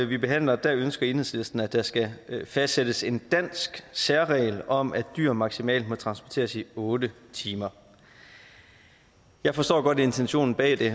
vi behandler ønsker enhedslisten at der skal fastsættes en dansk særregel om at dyr maksimalt må transporteres i otte timer jeg forstår godt intentionen bag det